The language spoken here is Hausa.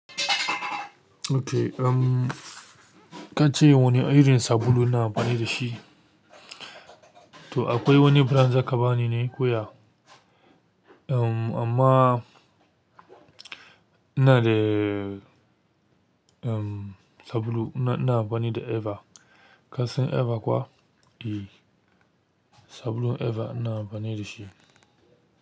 Ok, ka ce wane irin sabulu ina amfani da shi? To akwai wani biran zaka ba ni ne koya? Amma ina da, um, sabulu ina amfani da Eva. Ka san Eva kuwa? E, sabulu Eva ina amfani da shi.